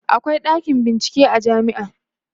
akwai ɗakin bincike a jamia